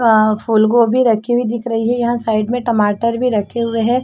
अ फूल गोभी रखी हुई दिख रही है यहाँ साइड में टमाटर भी रखे हुए है।